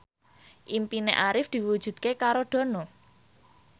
impine Arif diwujudke karo Dono